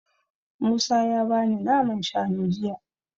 Musa ya bani naman shanu jiya.